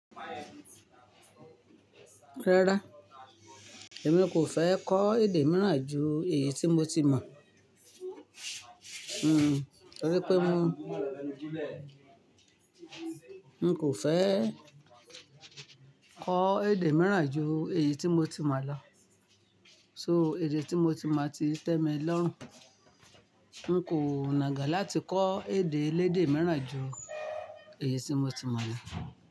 Rárá, èmi kò fẹ́ kọ́ èdè mìíràn ju èyí tí mo ti mọ̀. Nitoripe mo, n kò fẹ́ kọ́ èdè mìíràn ju èyí tí mo ti mọ̀ lọ. So èdè tí mo ti mọ̀ ti tẹ́mi lọ́rùn. N kò nàga láti kọ́ èdè elédè mìíràn ju èyí tí mo ti mọ̀ lọ.